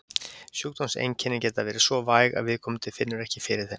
Sjúkdómseinkennin geta verið svo væg að viðkomandi finnur ekki fyrir þeim.